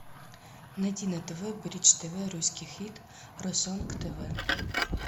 найди на тв бридж тв русский хит ру сонг тв